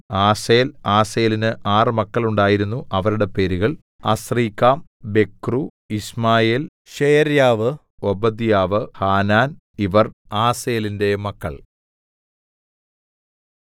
ആസേലിന് ആറ് മക്കൾ ഉണ്ടായിരുന്നു അവരുടെ പേരുകൾ അസ്രീക്കാം ബെക്രൂ യിശ്മായേൽ ശെയര്യാവു ഓബദ്യാവു ഹാനാൻ ഇവർ ആസേലിന്റെ മക്കൾ